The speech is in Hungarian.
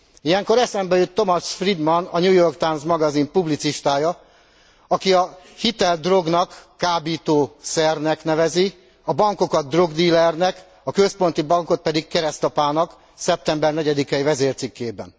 Ilyenkor eszembe jut Thomas Friedman a New York Times magazin publicistája, aki a hitelt drognak, kábítószernek nevezi, a bankokat drogdílernek, a központi bankot pedig keresztapának szeptember 4 i vezércikkében.